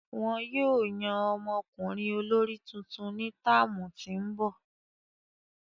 Wọn yóò yan ọmọkunrin olori tuntun ni táámu ti n bọ.